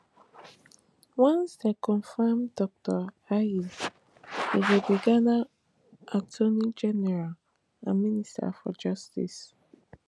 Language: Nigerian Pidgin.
once dem confam dr ayine e go be ghana attorneygeneral and minister for justice